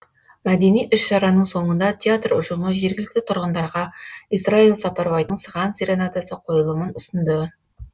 мәдени іс шараның соңында театр ұжымы жергілікті тұрғындарға исраил сапарбайдың сыған серенадасы қойылымын ұсынды